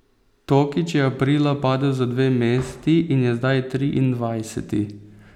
Tokič je aprila padel za dve mesti in je zdaj triindvajseti.